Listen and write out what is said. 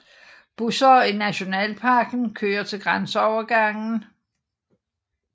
Busser i Nationalparken kører til grænseovergangen